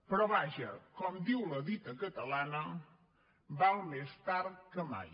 però vaja com diu la dita catalana val més tard que mai